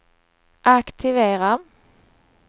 aktivera